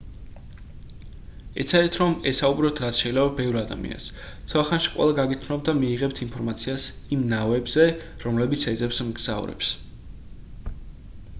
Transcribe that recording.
ეცადეთ რომ ესაუბროთ რაც შეიძლება ბევრ ადამიანს ცოტა ხანში ყველა გაგიცნობთ და მიიღებთ ინფორმაციას იმ ნავებზე რომელიც ეძებს მგზავრებს